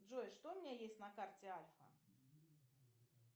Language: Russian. джой что у меня есть на карте альфа